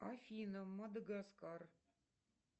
афина мадагаскар